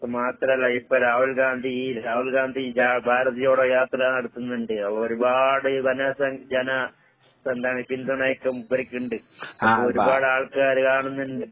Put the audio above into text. അത് മാത്രല്ല ഇപ്പ രാഹുൽ ഗാന്ധി രാഹുൽ ഗാന്ധി ജാ ഭാരത് ജോഡോ യാത്ര നടത്ത്ന്ന്ണ്ട്. അപ്പൊരുപാട് ജന ഇപ്പെന്താണ് പിന്തുണയൊക്കെ മൂപ്പര്ക്ക്ണ്ട്. അതൊരുപാടാൾക്കാര് കാണുന്നുണ്ട്.